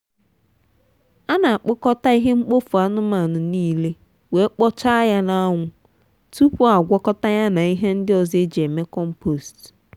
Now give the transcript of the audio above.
ana kpokọta ihe mkpofu anụmanụ niile wee kpochaa ya n’añwu tupu agwakọta ya na ihe ndị ọzọ eji eme compost.